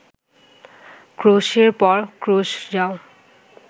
ক্রোশের পর ক্রোশ যাও